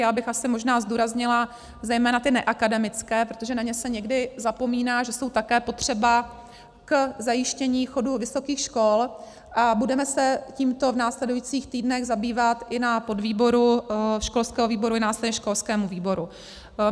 Já bych asi možná zdůraznila zejména ty neakademické, protože na ně se někdy zapomíná, že jsou také potřeba k zajištění chodu vysokých škol, a budeme se tímto v následujících týdnech zabývat i na podvýboru školského výboru i následně školském výboru.